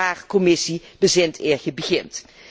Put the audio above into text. Dus ook daar, Commissie, bezint eer gij begint.